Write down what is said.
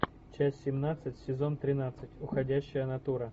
часть семнадцать сезон тринадцать уходящая натура